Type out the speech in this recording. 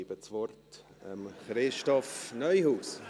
Ich gebe das Wort Christoph Neuhaus.